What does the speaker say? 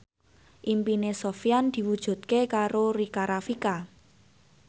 impine Sofyan diwujudke karo Rika Rafika